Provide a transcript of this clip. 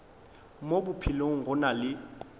mo bophelong go na le